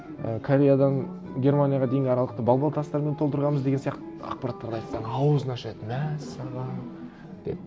і кореядан германияға дейінгі аралықты бал бал тастармен толтырғанбыз деген сияқты ақпараттарды айтсам ауызын ашады мәссаған деп